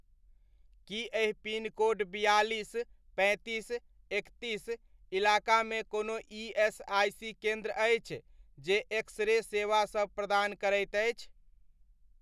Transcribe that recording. की एहि पिनकोड बियालिस, पैंतीस, एकतीस इलाकामे कोनो ईएसआइसी केन्द्र अछि, जे एक्स रे सेवा सब प्रदान करैत अछि?